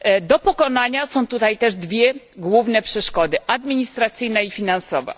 Do pokonania są tutaj dwie główne przeszkody administracyjna i finansowa.